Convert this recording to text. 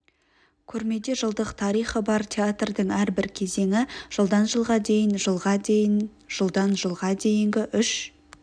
көрмеде жылдық тарихы бар театрдың әрбір кезеңі жылдан жылға дейін жылға дейін жылдан жылға дейінгі үш